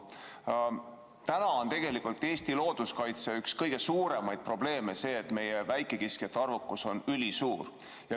Täna on tegelikult üks Eesti looduskaitse kõige suuremaid probleeme see, et meie väikekiskjate arvukus on ülikõrge.